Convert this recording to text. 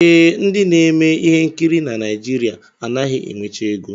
Ee, ndị na-eme ihe nkiri na Naijiria anaghị enwecha ego